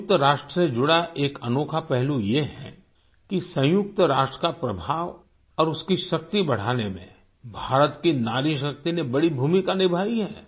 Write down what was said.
सयुंक्त राष्ट्र से जुड़ा एक अनोखा पहलू ये है कि सयुंक्त राष्ट्र का प्रभाव और उसकी शक्ति बढ़ाने में भारत की नारी शक्ति ने बड़ी भूमिका निभाई है